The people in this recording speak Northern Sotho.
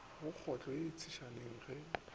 go kotlo ye tshesane ge